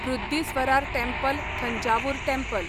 Brihadeeswarar temple Thanjavur temple